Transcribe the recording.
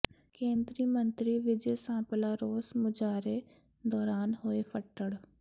ਕੇਂਦਰੀ ਮੰਤਰੀ ਵਿਜੇ ਸਾਂਪਲਾ ਰੋਸ ਮੁਜਾਹਰੇ ਦੌਰਾਨ ਹੋਏ ਫੱਟੜ